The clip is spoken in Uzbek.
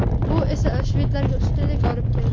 Bu esa shvedlarga ustunlik olib keldi.